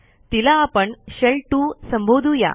तिला आपण शेल 2 संबोधू या